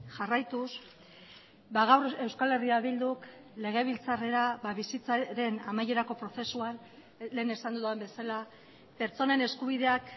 jarraituz gaur euskal herria bilduk legebiltzarrera bizitzaren amaierako prozesuan lehen esan dudan bezala pertsonen eskubideak